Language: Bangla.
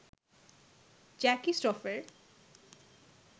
জ্যাকি স্রফের